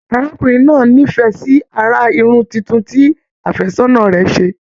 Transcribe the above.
Arákùnrin náà n'ifẹ sí àrà Irun títún tí àfẹ́sọ̀nà rẹ ṣe.